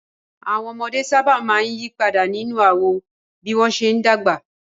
Àwọn ọmọdé sábà máa ń yí padà nínú àwọ̀ bí wọ́n ṣe ń dàgbà